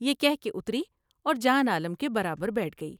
یہ کہہ کے اتری اور جان عالم کے برابر بیٹھ گئی ۔